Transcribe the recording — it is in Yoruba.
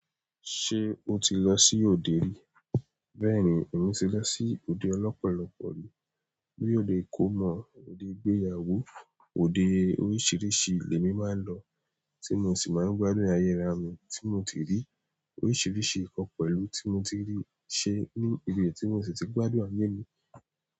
Ṣé o ti lọ sí òde rí? Bẹ́ẹ̀ni, èmi ti lọ sí òde lọ́pọ̀lọpọ̀. Bí i òde ìkómọ, òde ìgbéyàwó, òde oríṣiríṣi le mi máa ń lọ, tí mo sì máa ń gbádùn ayé ara mi tí mo ti rí oríṣiríṣi nǹkan pẹ̀lú tí mo ti rí ṣe ní ibi ètò tí mo sì ti gbádùn ayé mi.